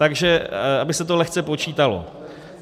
Takže aby se to lehce počítalo.